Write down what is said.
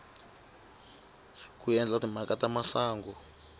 ku endla timhaka ta masangu